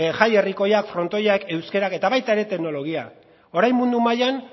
jai herrikoiak frontoiak euskarak eta baita ere teknologia orain mundu mailan